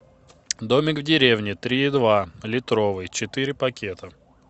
домик в деревне три и два литровый четыре пакета